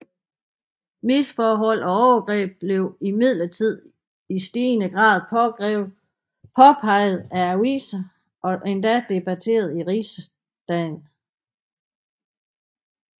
Misforhold og overgreb blev imidlertid i stigende grad påpeget af aviserne og endda debatteret i Rigsdagen